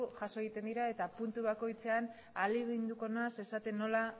jaso egiten dira eta puntu bakoitzean ahaleginduko naiz